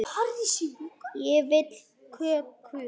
Ég vil kökur.